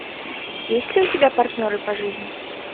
есть ли у тебя партнеры по жизни